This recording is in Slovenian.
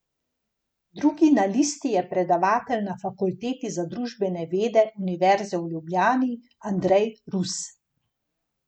Drugi na listi je predavatelj na Fakulteti za družbene vede Univerze v Ljubljani Andrej Rus.